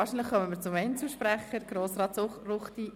Wahrscheinlich zum Einzelsprecher, Grossrat Ruchti.